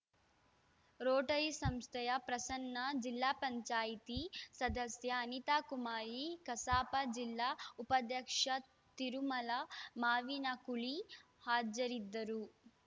Rotary ಸಂಸ್ಥೆಯ ಪ್ರಸನ್ನ ಜಿಲ್ಲಾ ಪಂಚಾಯಿತಿ ಸದಸ್ಯ ಅನಿತಾಕುಮಾರಿ ಕಸಾಪ ಜಿಲ್ಲಾ ಉಪಾಧ್ಯಕ್ಷ ತಿರುಮಲ ಮಾವಿನಕುಳಿ ಹಾಜರಿದ್ದರು